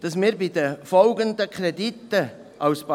Dass wir bei den folgenden Krediten, was